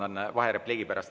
Vabandan vaherepliigi pärast.